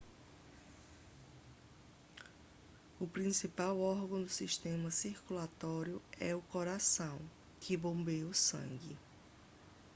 o principal órgão do sistema circulatório é o coração que bombeia o sangue